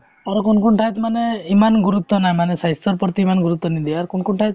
আৰু কোন কোন ঠাইত মানে ইমান গুৰুত্ব নাই মানে স্বাস্থ্যৰ প্ৰতি ইমান গুৰুত্ৱ নিদিয়ে আৰু কোন কোন ঠাইত